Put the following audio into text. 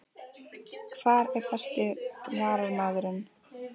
Hver er besti Varnarmaðurinn?